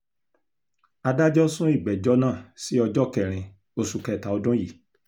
adájọ́ sún ìgbẹ́jọ́ náà sí ọjọ́ kẹrin oṣù kẹta ọdún yìí